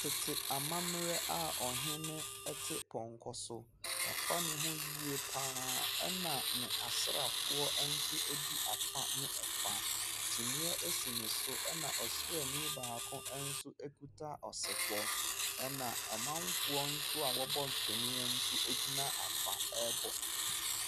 Tete amammerɛ a ɔhene te pɔnkɔ so. Wafa ne ho yie pa ara, ɛna n'asraafoɔ nso di afa ne afa. Kyiniiɛ si ne so, ɛna ɔsraani baako nso kuta ɔsebɔ, ɛna amanfoɔ nso a wɔbɔ ntwene nso gyina afa rebɔ.